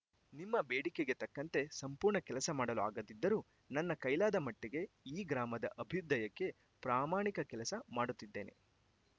ನಿಮ್ಮ ಬೇಡಿಕೆಗೆ ತಕ್ಕಂತೆ ಸಂಪೂರ್ಣ ಕೆಲಸ ಮಾಡಲು ಆಗದಿದ್ದರೂ ನನ್ನ ಕೈಲಾದ ಮಟ್ಟಿಗೆ ಈ ಗ್ರಾಮದ ಅಭ್ಯುದಯಕ್ಕೆ ಪ್ರಾಮಾಣಿಕ ಕೆಲಸ ಮಾಡಿತಿದ್ದೇನೆ